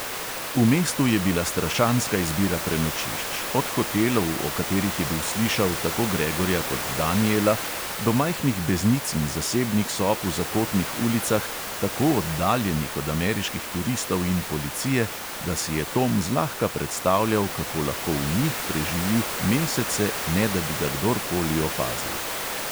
V mestu je bila strašanska izbira prenočišč, od hotelov, o katerih je bil slišal, tako gregorja kot danijela, do majhnih beznic in zasebnih sob v zakotnih ulicah, tako oddaljenih od ameriških turistov in policije, da si je tom zlahka predstavljal, kako lahko v njih preživi mesece, ne da bi ga kdorkoli opazil.